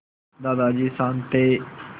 दादाजी शान्त थे